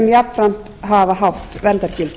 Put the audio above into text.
jafnframt hafa hátt verndargildi